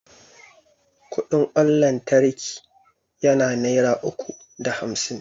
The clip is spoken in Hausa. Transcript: Kudin kwan lantraki yana naira uku da hamsin